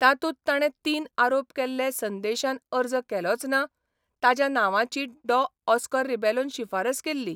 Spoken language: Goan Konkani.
तातूंत ताणे तीन आरोप केल्ले संदेशान अर्ज केलोच ना, ताज्या नांवाची डॉ ऑस्कर रिबेलोन शिफारस केल्ली.